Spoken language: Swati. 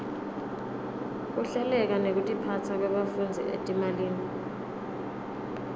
kuhleleka nekutiphasa kwebafundzi etimalini